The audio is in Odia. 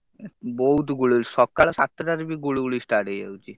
ବହୁତ୍ ଗୁଳୁ~ ହଉଛି ସକାଳ ସାତ ଟା ରେ ବି ଗୁଳୁ ଗୁଳି start ହେଇଯାଉଛି।